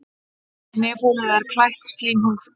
Nefholið er klætt slímhúð.